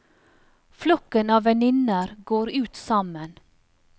Flokken av venninner går ut sammen.